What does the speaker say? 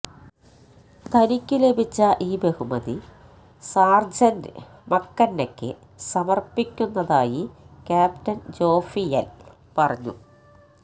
തനിക്ക് ലഭിച്ച ഈ ബഹുമതി സാര്ജന്റ് മക്കെന്നയ്ക്ക് സമര്പ്പിക്കുന്നതായി ക്യാപ്റ്റന് ജോഫിയല് പറഞ്ഞു